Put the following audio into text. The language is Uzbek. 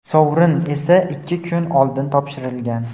sovrin esa ikki kun oldin topshirilgan.